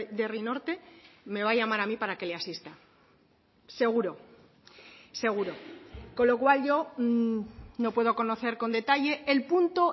de herri norte me va a llamar a mí para que le asista seguro seguro con lo cual yo no puedo conocer con detalle el punto